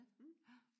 Mh